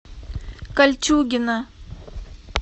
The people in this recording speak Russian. кольчугино